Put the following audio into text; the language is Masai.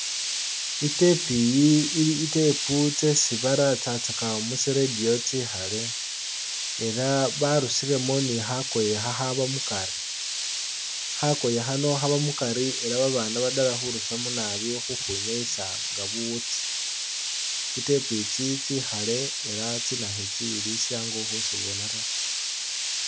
I'tape iyi ili i'tape tsesi baratsatsaka mutsi radio tsikhale elah barusilemo ni khakoye khakhaba mukari khakoye khano khaba mukari elah babana badala khurusamo naabi khukhenyayisa nga buwutsi tsi'tape tsino tsikhale elah tsinakhu tsino ili shangu khutsibona taa